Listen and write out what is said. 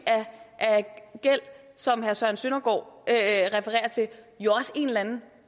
af gæld som herre søren søndergaard refererer til jo også en eller anden